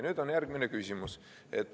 Nüüd on järgmine küsimus.